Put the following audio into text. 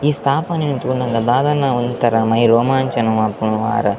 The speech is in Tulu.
ಈ ಸ್ಥಾಪನೆನ್ ತೂನಗ ದಾದನ ಒಂತರ ಮೈ ರೋಮಾಂಚನ ಆಪುಂಡ್ ಮಾರೆ.